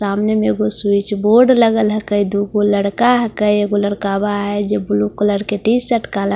सामने में वो स्विचबोर्ड लगा ला है कई दूप वो लड़का आ है का एक वो लड़का अब आये जो ब्‍लू कलर के टी_शर्ट काला कलर का जीन्‍स --